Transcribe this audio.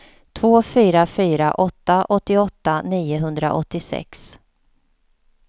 två fyra fyra åtta åttioåtta niohundraåttiosex